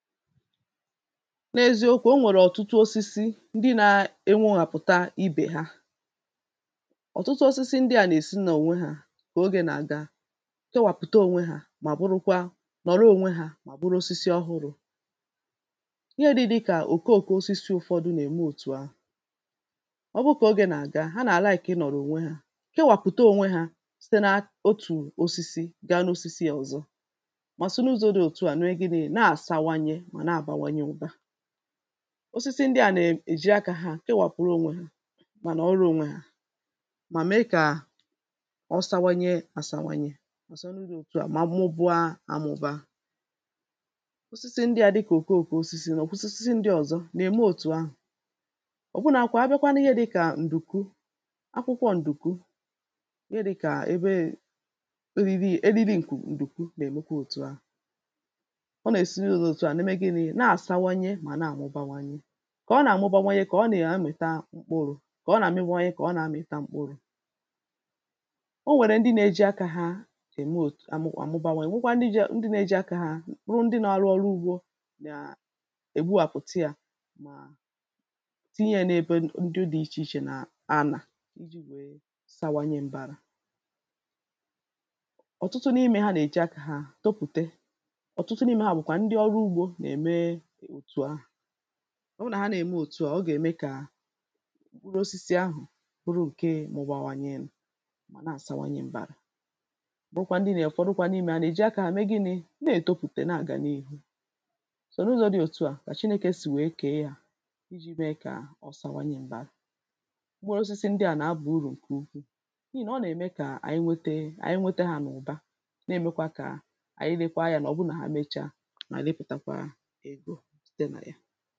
n’eziokū o nwèrè ọ̀tutụ osisi ndị na-ewehàpụ̀ta ibè ha, ọ̀tụtụ osisi ndị à nà-èsi n’ònwe hā kà ogē nà-àga kewàpụ̀ta ònwe hā mà bụrụkwa nọ̀rọ ōnwē hà mà bụrụ osisi ọhụrụ̄. ihe dị̄ dịkà òkoòko osisi ụ̄fọ̄dụ̄ nà-ème òtù ahụ̀ ọ bụ kà ogē nà-àga ha nà-àlaị̀kị ịnọ̀rọ ònwe hā kewàpụ̀ta ònwe hā site na otù osisi gaa n’osisi ọ̀zọ mà si na-ụzọ̄ dị òtu à mee gịnị̄ nà-àsawanye mà na-àbáwányé ụ̄bā osisi ndị à nà-èji akā hā kawàpụ̀rụ ònwe hā mà nọ̀rọ ōnwē hà, mà mee kà ọ sawanye àsawanye àsọnụ dị òtu à mà mụba āmụ̄bā osisi ndị ā dịkà òkoòko osisi nà oko osisi ndị ọ̀zọ nà-ème òtu ahụ̀ ọ̀bụnākwā abịa n’ihe dị̄kà ǹdùkwu akwụkwọ ǹdùkwu ihe dị̄kà ebeē eriri eriri ǹkù ǹdùkwu nà-èmekwa òtu à ọ nà-èsi n’ụzọ̄ dị òtu à na-eme gịnị̄ na-àsawanye mà na-àmụbawanye kà ọ nà-àmụbawanye kà ọ nà-amụ̀ta mkpụrụ̄ kà ọ nà-àmụbawanye kà ọ na-amụ̀ta mkpụrụ̄. o nwèrè ndị nā-ējī akā hā ème ōt àmụ àmụbawa nwekwa ndị jiē ndị nā-ejī akā hā ruo ndị nā-ārụ̄ ọrụ ugbō gà-ègbuwàpụ̀ta yā mà tinye yā n’ebe ndị dị̄ ichè ichè nà ànà ijī nwèe sawanye m̄bārā ọ̀tụtụ n’imē hā nà-èji akā hā topùte ọ̀tụtụ n’imē hā bụ̀kwà ndị ọrụ ugbō nà-ème òtù ahà ọ bụrụ nà ha nà-ème òtu à ọ gà-ème kà mkpụrụ osisi ahụ̀ bụrụ ǹke mụ̄bāwānyē mà na-àsawanye m̄bārā bụkwa ndị nē ụ̀fọdụ kwa n’imē hā nà-èji akā hā mee gịnị̄ na-etopùte nà-àga n’iru sọ̀ n’ụzọ̄ dị òtu à kà chinēkè sì nwèe kèe hā ijī meē kà ọ sawanye m̀bara mkpụrụ osisi ndị à nà-abà urù ǹkè ukwuù n’ihì nà ọ nà-ème kà ànyị wete ànyị wete hā n’ụ̀ba na-èmekwa kà ànyị lekwa anyā nà ọ bụ nà ha mecha ànyị lepùtakwa egō site nà ya